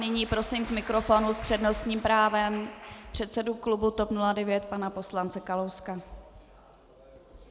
Nyní prosím k mikrofonu s přednostním právem předsedu klubu TOP 09 pana poslance Kalouska.